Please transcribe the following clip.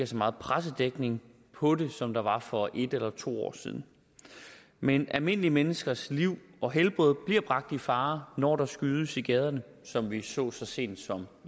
så meget pressedækning på det som der var for en eller to år siden men almindelige menneskers liv og helbred bliver bragt i fare når der skydes i gaderne som vi så så sent som